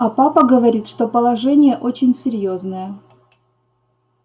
а папа говорит что положение очень серьёзное